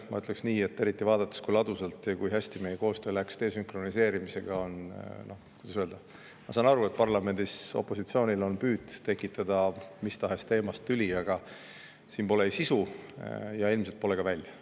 Ma ütleks nii, eriti vaadates, kui ladusalt ja hästi läks meie koostöö desünkroniseerimisel, et ma saan aru, kui parlamendi opositsioonil on püüd tekitada mis tahes teemast tüli, aga siin pole sel sisu ja ilmselt ei tule see ka välja.